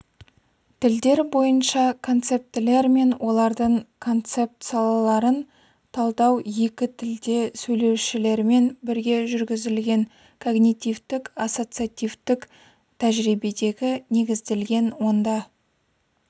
тілдер бойынша концептілер мен олардың концептсалаларын талдау екі тілде сөйлеушілермен бірге жүргізілген когнитивтік-ассоциативтік тәжірибеге негізделген онда